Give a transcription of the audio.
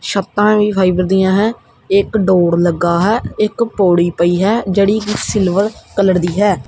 ਛੱਤਾਂ ਵੀ ਫਾਈਬਰ ਦੀਆਂ ਹੈ ਇੱਕ ਡੋਰ ਲੱਗਾ ਹੈ ਇੱਕ ਪੌੜੀ ਪਈ ਹੈ ਜਿਹੜੀ ਕਿ ਸਿਲਵਰ ਕਲਰ ਦੀ ਹੈ।